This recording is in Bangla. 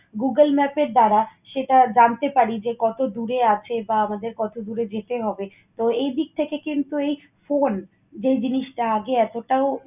google map এর দ্বারা সেটা জানতে পারি যে কত দূরে আছে বা আমাদের কত দূরে যেতে হবে। তো, এইদিক থেকে কিন্তু এই phone যে জিনিসটা আগে এতটাও